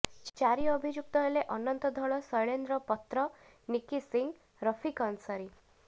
ଚାରି ଅଭିଯୁକ୍ତ ହେଲେ ଅନନ୍ତ ଧଳ ଶୈଳେନ୍ଦ୍ର ପତ୍ର ନିକି ସିଂ ରଫିକ ଅନସାରୀ